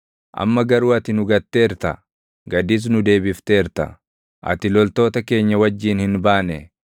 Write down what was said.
Amma garuu ati nu gatteerta; gadis nu deebifteerta; ati loltoota keenya wajjin hin baane.